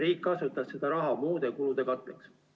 Riik kasutas seda raha muude kulude katteks.